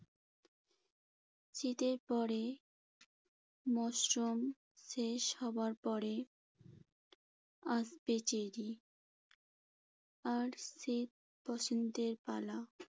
শীতের পরে মশরুম শেষ হবার পরে আসবে চেরি। আর শীত-বসন্তের পালা